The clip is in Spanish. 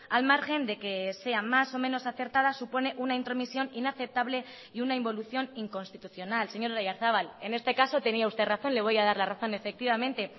al margen de que sea más o menos acertada supone una intromisión inaceptable y una involución inconstitucional señor oyarzabal en este caso tenía usted razón le voy a dar la razón efectivamente